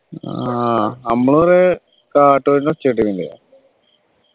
ആഹ് നമ്മളൊരു കാട്ടുകോഴിൻ്റെ ഒച്ച കേട്ടിട്ടില്ലേ